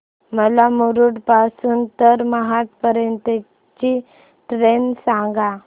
मला मुरुड पासून तर महाड पर्यंत ची ट्रेन सांगा